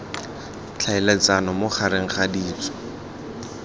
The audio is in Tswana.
tlhaeletsano mo gareg ga ditso